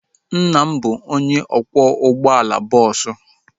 Nna m bụ onye ọkwọ ụgbọala bọọsu